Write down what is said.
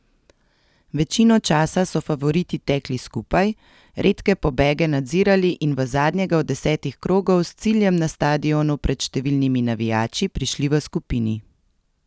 Večino časa so favoriti tekli skupaj, redke pobege nadzirali in v zadnjega od desetih krogov s ciljem na stadionu pred številnimi navijači prišli v skupini.